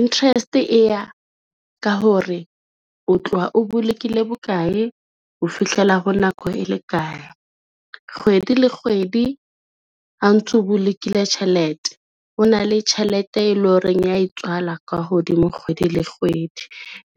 interest e ya ka hore o tloha o bolokile bokae ho fihlela ho nako e le kae. Kgwedi le kgwedi ha o ntso bolokile tjhelete, ho na le tjhelete e lo reng ya e tswala ka hodimo kgwedi le kgwedi.